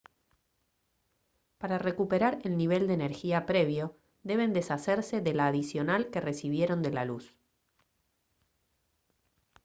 para recuperar el nivel de energía previo deben deshacerse de la adicional que recibieron de la luz